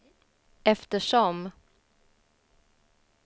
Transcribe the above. eftersom